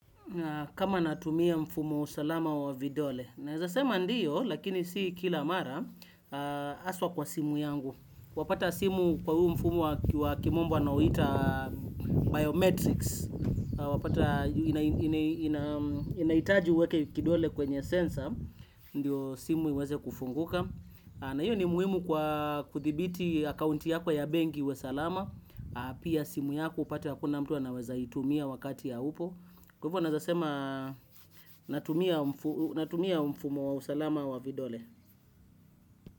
Kama natumia mfumo salama wa vidole. Naezasema ndiyo, lakini si kila mara haswa kwa simu yangu. Wapata simu kwa huu mfumo wa kimombo wanauita biometrics. Wapata inahitaji uweke kidole kwenye sensa, ndiyo simu iweze kufunguka. Na hiyo ni muhimu kwa kuthibiti akaunti yako ya benki iwe salama. Pia simu yako upate hakuna mtu anawezaitumia wakati haupo. Kwa hivyo naezasema natumia mfumo wa usalama wa vidole.